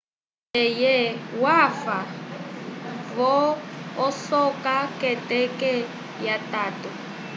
eye wafa vo-osaka k'eteke lyatatu